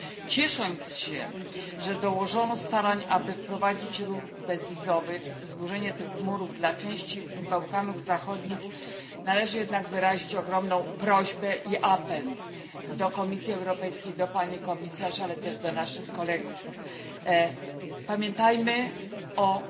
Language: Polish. Ciesząc się, że dołożono starań, aby wprowadzić ruch bezwizowy i zburzyć te mury dla części Bałkanów Zachodnich, należy jednak skierować ogromną prośbę i apel do Komisji Europejskiej, do pani komisarz, ale też do naszych kolegów pamiętajmy o